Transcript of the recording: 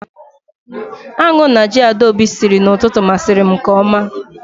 Aṅụ na ji Adaobi siri n'ụtụtụ masiri m nke oma